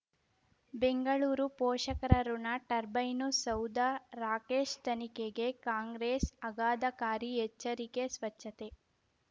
ಬೆಂಗಳೂರು ಪೋಷಕರಋಣ ಟರ್ಬೈನು ಸೌಧ ರಾಕೇಶ್ ತನಿಖೆಗೆ ಕಾಂಗ್ರೆಸ್ ಆಘಾದಕಾರಿ ಎಚ್ಚರಿಕೆ ಸ್ವಚ್ಛತೆ